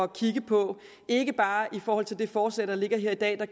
kigge på ikke bare i forhold til det forslag der ligger her i dag og